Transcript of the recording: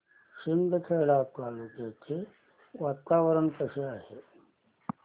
शिंदखेडा तालुक्याचे वातावरण कसे आहे